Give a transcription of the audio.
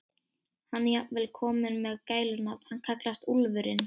Hann er jafnvel kominn með gælunafn, hann kallast Úlfurinn.